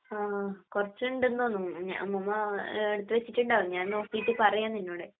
ങാ..കുറച്ചുണ്ടെന്ന് തോന്നുന്നു..ഞാ..ഉമ്മുമ്മ എടുത്തുവച്ചിട്ടുണ്ടാകും.ഞാൻ നോക്കീട്ട് പറയാം നിന്നോട്.